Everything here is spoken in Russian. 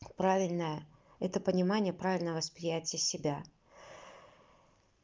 правильно это понимание правильное восприятие себя